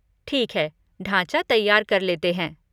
ठीक है, ढाँचा तैयार कर लेते हैं।